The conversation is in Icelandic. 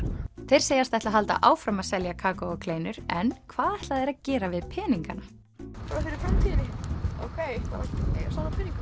þeir segjast ætla að halda áfram að selja kakó og kleinur en hvað ætla þeir að gera við peningana bara fyrir framtíðinni safna peningum